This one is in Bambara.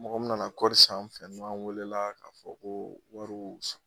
Mɔgɔ min nana kɔɔri san an fɛ yan n'an welela k'a fɔ ko wari